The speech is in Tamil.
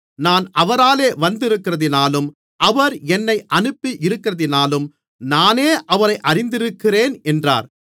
நான் அவரால் வந்திருக்கிறதினாலும் அவர் என்னை அனுப்பி இருக்கிறதினாலும் நானே அவரை அறிந்திருக்கிறேன் என்றார்